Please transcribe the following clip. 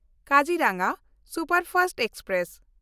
Kaziranga superfast express